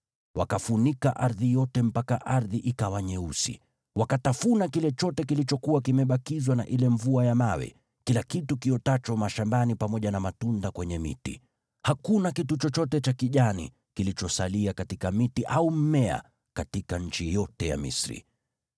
Wakafunika ardhi yote mpaka ardhi ikawa nyeusi. Wakatafuna kile chote kilichokuwa kimebakizwa na ile mvua ya mawe, kila kitu kiotacho mashambani pamoja na matunda kwenye miti. Hakuna kitu chochote cha kijani kilichosalia katika miti au mmea katika nchi yote ya Misri.